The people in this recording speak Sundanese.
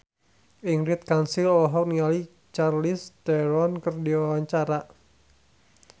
Ingrid Kansil olohok ningali Charlize Theron keur diwawancara